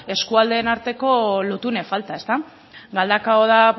eskualdeen arteko lotune falta ezta galdakao da